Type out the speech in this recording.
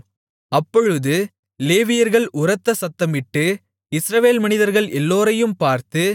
அப்பொழுது லேவியர்கள் உரத்த சத்தமிட்டு இஸ்ரவேல் மனிதர்கள் எல்லோரையும் பார்த்து